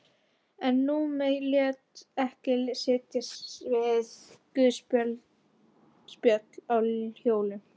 En Númi lét ekki sitja við guðspjöll á hjólum.